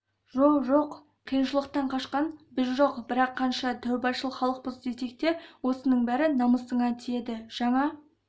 жо-жоқ қиыншылықтан қашқан біз жоқ бірақ қанша тәубашыл халықпыз десек те осының бәрі намысыңа тиеді жаңа